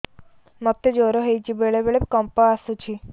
ମୋତେ ଜ୍ୱର ହେଇଚି ବେଳେ ବେଳେ କମ୍ପ ଆସୁଛି